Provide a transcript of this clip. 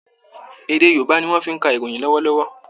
Èdè Yorùbá ni wọn fi ń ka ìròyìn lọ́wọ́lọ́wọ́